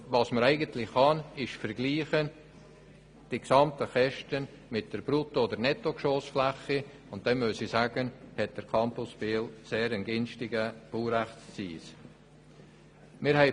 Verglichen werden können die Gesamtkosten mit der Brutto- oder Nettogeschossfläche, und da muss ich sagen, dass der Campus Biel einen sehr günstigen Baurechtszins hat.